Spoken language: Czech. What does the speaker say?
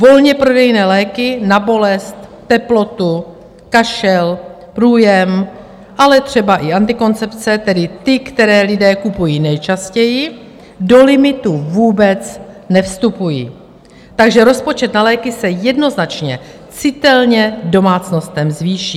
Volně prodejné léky na bolest, teplotu, kašel, průjem, ale třeba i antikoncepce, tedy ty, které lidé kupují nejčastěji, do limitu vůbec nevstupují, takže rozpočet na léky se jednoznačně citelně domácnostem zvýší.